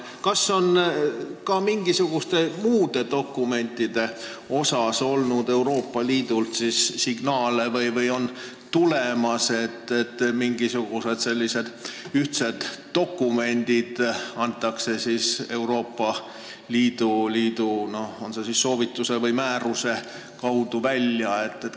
Kas Euroopa Liidult on tulnud signaale ka muude dokumentide kohta, et mingisugused ühtsed dokumendid antakse varsti Euroopa Liidu soovituse või määruse alusel välja?